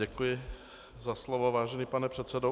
Děkuji za slovo, vážený pane předsedo.